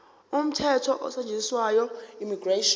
umthetho osetshenziswayo immigration